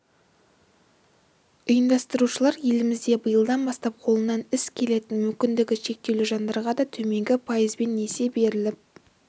ұйымдастырушылар елімізде биылдан бастап қолынан іс келетін мүмкіндігі шектеулі жандарға да төменгі пайызбен несие беріліп